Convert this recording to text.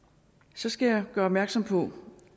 så skal jeg gøre opmærksom på